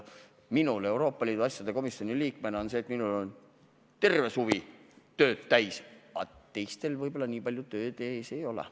Minul Euroopa Liidu asjade komisjoni liikmena on terve suvi tööd täis, teistel võib-olla nii palju tööd ees ei ole.